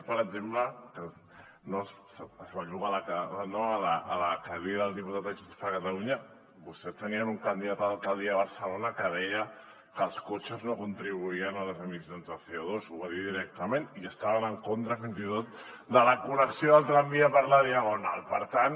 per exemple es belluga a la cadira el diputat de junts per catalunya vostès tenien un candidat a l’alcaldia a barcelona que deia que els cotxes no contribuïen a les emissions de cotament i estaven en contra fins i tot de la connexió del tramvia per la diagonal per tant